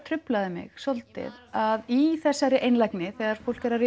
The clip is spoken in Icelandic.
truflaði mig svolítið að í þessari einlægni þegar fólk er að